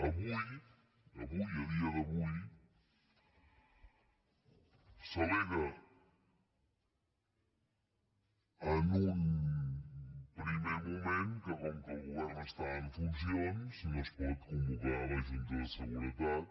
avui avui a dia d’avui s’al·lega en un primer moment que com que el govern està en funcions no es pot convocar la junta de seguretat